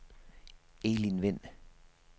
Elin Vind